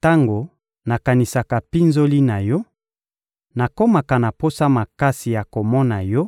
Tango nakanisaka mpinzoli na yo, nakomaka na posa makasi ya komona yo